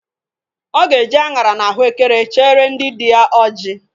Ọ ga-eje aṅara na ahụekere chere ndị dị ya ọjị